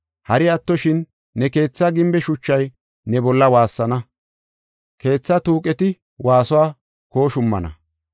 Hari attoshin ne keetha gimbe shuchay ne bolla waassana; keethaa tuuqeti waasuwa kooshummana.